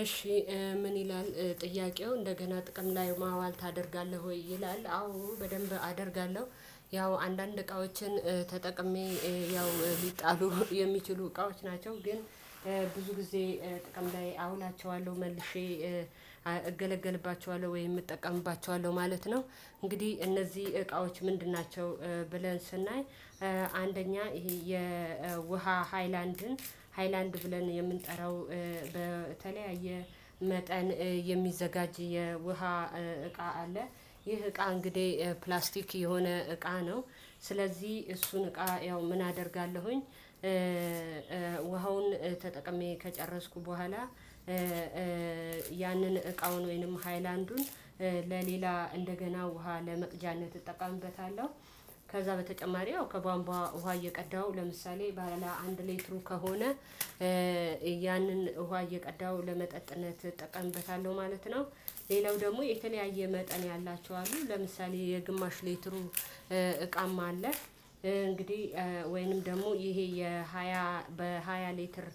እሺ ምን ይላል ጥያቄው እንደገና ጥቅም ላይ ማዋል ታደርጋለህ ወይ? ይላል አዎ በደንብ አደርጋለሁ። ያው አንዳንድ እቃዎችን ተጠቅሜ ያው ቢጣሉ የሚችሉ እቃዎች ናቸው ግን። ብዙ ጊዜ ጥቅም ላይ አውላቸዋለሁ መልሼ እገለገልባቸዋለሁ ወይም እጠቀምባቸዋለሁ ማለት ነው። እንግዲህ እነዚህ እቃዎች ምንድን ናቸው ብለን ስናይ። አንደኛ ይሄ የውሃ ሃይላንድን ሃይላንድ ብለን የምንጠራው በተለያየ መጠን የሚዘጋጅ የውሃ እቃ አለ። ይህ እቃ እንግዲህ ፕላስቲክ የሆነ እቃ ነው። ስለዚህ እሱን እቃ ያው ምን አደርጋለሁኝ። ውሃውን ተጠቅሜ ከጨረስኩ በኋላ ያንን እቃውን ወይንም ሃይላንዱን ለሌላ እንደገና ውሃ ለመቅጃነት እጠቀምበታለሁ። ከዛ በተጨማሪ አዎ ከቧንቧ ውሃ እየቀዳው ለምሳሌ ባለ አንድ ሌትሩ ከሆነ ያንን ውሃ እየቀዳው ለመጠጥነት እጠቀምበታለሁ ማለት ነው። ሌላው ደግሞ የተለያየ መጠን ያላቸው አሉ ለምሳሌ የግማሽ ሌትሩ እቃም አለ። እንግዲህ ወይንም ደግሞ ይሄ የሃያ በሃያ ሊትር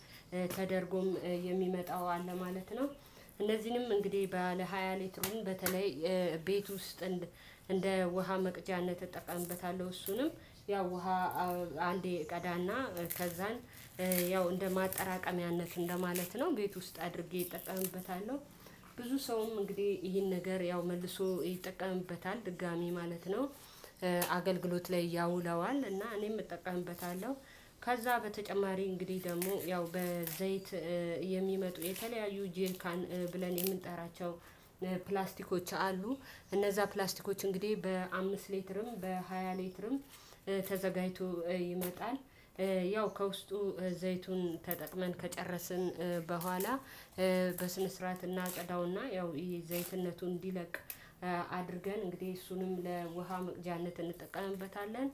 ተደርጎም የሚመጣው አለ ማለት ነው። እነዚህንም እንግዲህ ባለ ሃያ ሌትር በተለይ ቤት ውስጥ እንደ ውሃ መቅጃነት እጠቀምበታለሁ። እሱንም ያው ውሃ አንዴ እቀዳና ከዛን ያው እንደ ማጠራቀሚያነት እንደማለት ነው ቤት ውስጥ አድርጌ እጠቀምበታለው። ብዙ ሰውም እንግዲህ ይሄን ነገር ያው መልሶ ይጠቀምበታል ድጋሚ ማለት ነው። አገልግሎት ላይ ያውለዋል እና እኔም እጠቀምበታለሁ። ከዛ በተጨማሪ እንግዲህ ደግሞ ያው በዘይት የሚመጡ የተለያዩ ጀሪካን ብለን የምንጠራቸው ፕላስቲኮች አሉ። እነዛ ፕላስቲኮች እንግዲህ በአምስት ሌትርም በሃያ ሌትርም ተዘጋጅቶ ይመጣል ያው ከውስጡ ዘይቱን ተጠቅመን ከጨረስን በኋላ በስነ ስርዓት እናጸደውና ያው የዘይትነቱን እንዲለቅ አድርገን እንግዲህ እሱንም ለውሃ መቅጃነት እንጠቀምበታለን።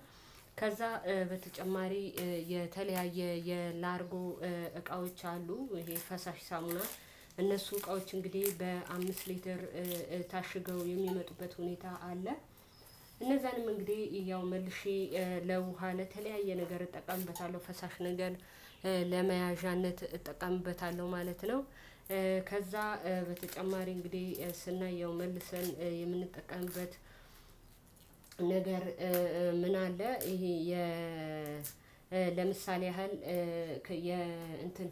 ከዛ በተጨማሪ የተለያየ የላርጎ እቃዎች አሉ የፈሳሽ ሳሙና እነሱ እቃዎች እንግዲህ በአምስት ሊትር ታሽገው የሚመጡበት ሁኔታ አለ። እነዛን እንግዲህ ያው መልሼ ለውሃ ለተለያየ ነገር እጠቀምበታለሁ ፈሳሽ ነገር ለመያዣነት እጠቀምበታለሁ ማለት ነው። ከዛ በተጨማሪ እንግዲህ ስናይ መልሰን የምንጠቀምበት ነገር ምን አለ? ይሄ ለምሳሌ ያህል የ እንትን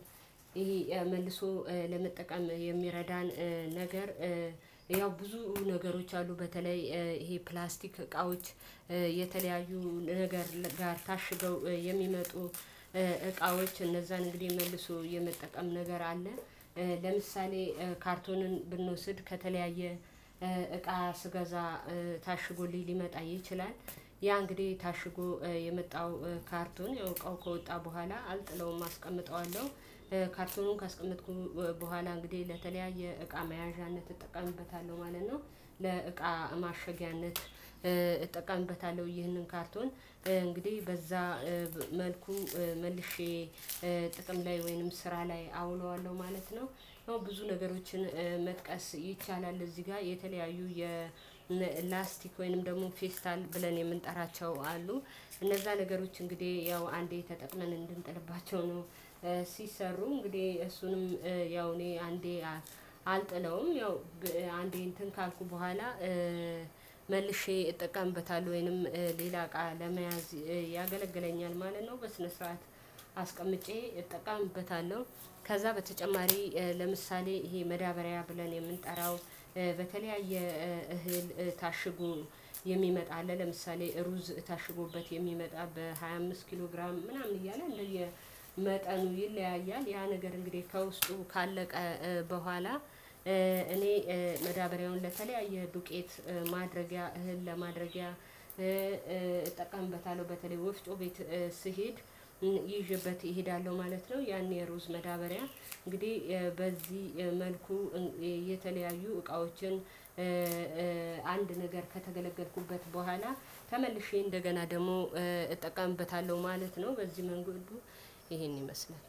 ይሄ መልሶ ለመጠቀም የሚረዳን ነገር ያው ብዙ ነገሮች አሉ። በተለይ ይሄ ፕላስቲክ እቃዎች የተለያዩ ነገር ጋር ታሽገው የሚመጡ እቃዎች እነዛን እንግዲህ መልሶ የመጠቀም ነገር አለ። ለምሳሌ ካርቶንን ብንወስድ ከተለያየ እቃ ስገዛ ታሽጎልኝ ሊመጣ ይችላል ያ እንግዲህ ታሽጎ የመጣው ካርቱን እቃው ከወጣ በኋላ አልጥለውም አስቀምጠዋለሁ። ካርቱኑን ካስቀመጥኩ በኋላ እንግዲህ ለተለያየ የእቃ መያዣነት እጠቀምበታለሁ ማለት ነው። ለእቃ ማሸጊያነት እጠቀምበታለሁ ይህንን ካርቶን እንግዲህ በዛ መልኩ መልሼ ጥቅም ላይ ወይንም ስራ ላይ አውለዋለሁ ማለት ነው። ያው ብዙ ነገሮችን መጥቀስ ይቻላል እዚህ ጋር የተለያዩ የላስቲክ ወይንም ደግሞ ፌስታል ብለን የምንጠራቸው አሉ። እነዛ ነገሮች እንግዲህ ያው አንዴ ተጠቅመን እንድንጥልባቸው ነው። ሲሰሩ እንግዲህ እሱንም ያው እኔ አንዴ አልጥለውም ያው አንዴ እንትን ካልኩ በኋላ መልሼ እጠቀምበታለሁ። ወይንም ሌላ እቃ ለመያዝ ያገለግለኛል ማለት ነው በስነ ስርዓት አስቀምጬ እጠቀምበታለሁ። ከዛ በተጨማሪ ለምሳሌ ይሄ መዳበሪያ ብለን የምንጠራው በተለያየ እህል ታሽጎ የሚመጣ አለ። ለምሳሌ ሩዝ ታሽጎበት የሚመጣ በሃያ አምስት ኪሎ ግራም ምናምን እያለ እንደየ መጠኑ ይለያያል ያ ነገር እንግዲህ ከውስጡ ካለቀ በኋላ እኔ መዳበሪያውን ለተለያየ ዱቄት ማድረጊያ እህል ለማድረጊያ እጠቀምበታለሁ። በተለይ ወፍጮ ቤት ስሄድ ይዤበት እሄዳለሁ ማለት ነው። ያኔ ሩዝ መዳበሪያ እንግዲህ በዚህ መልኩ የተለያዩ እቃዎችን አንድ ነገር ከተገለገልኩበት በኋላ ተመልሼ እንደገና ደግሞ እጠቀምበታለሁ ማለት ነው። በዚህ መንገዱ ይሄን ይመስላል።